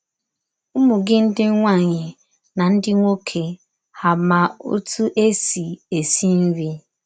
Ụmụ gị ndị nwaanyị na ndị nwoke hà ma otú e sị esi nri?